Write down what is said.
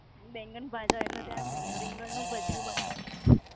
બેંગનભાજા એટલે ત્યાં બેંગન નું ભજિયું બનાવું.